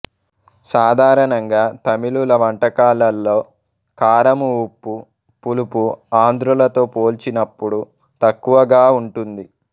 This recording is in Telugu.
సాధారణంగా తమిళుల వంటకాలలో కారము ఉప్పు పులుపు ఆంధ్రులతో పోల్చినపుడు తక్కువగా ఉంటుంది